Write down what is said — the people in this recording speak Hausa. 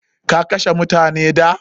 Ka kashe mutane da?